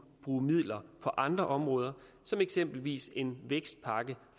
bruge midler på andre områder eksempelvis en vækstpakke